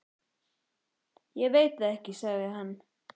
Ég veit það ekki, sagði hann.